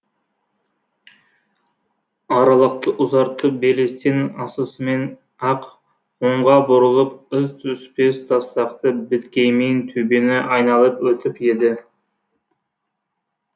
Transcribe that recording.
аралықты ұзартып белестен асысымен ақ оңға бұрылып із түспес тастақты беткеймен төбені айналып өтіп еді